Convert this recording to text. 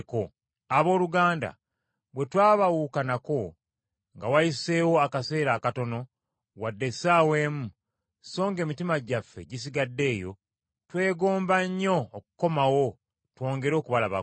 Abooluganda bwe twabaawukanako nga wayiseewo akaseera akatono, wadde essaawa emu, so ng’emitima gyaffe gisigadde eyo, twegomba nnyo okukomawo twongere okubalabako.